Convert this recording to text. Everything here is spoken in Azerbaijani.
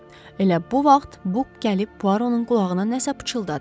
Elə bu vaxt Buk gəlib Puaronun qulağına nəsə pıçıldadı.